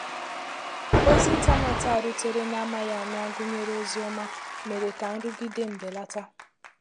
Òzí ìntànétì a rùtèrè n’amaghị ama gụ́nèrè òzí ọ́mà, méèrè ka nrụgide m belàtà